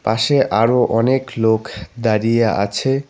পাশে আরও অনেক লোক দাঁড়িয়ে আছে।